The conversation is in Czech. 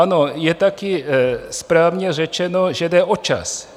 Ano, je taky správně řečeno, že jde o čas.